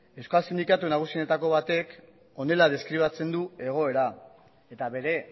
euskal sindikatu nagusienetako batek honela deskribatzen du egoera eta bere